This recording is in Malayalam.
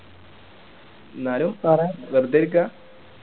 എന്നാലും പറ വെറുതെ ഇരിക്കാ